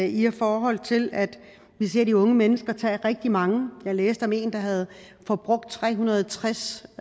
i forhold til at vi ser de unge mennesker tage rigtig mange jeg læste om en der havde forbrugt tre hundrede og tres